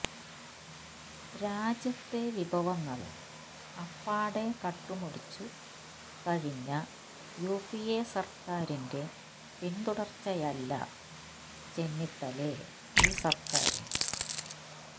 രാജ്യത്തെ വിഭവങ്ങള് അപ്പാടെ കട്ടുമുടിച്ചു കഴിഞ്ഞ യുപിഎ സര്ക്കാരിന്റെ പിന്തുടര്ച്ചയല്ല ചെന്നിത്തലേ ഈ സര്ക്കാര്